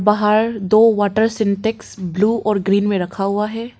बाहर दो water Sintex blue और ग्रीन में रखा हुआ है।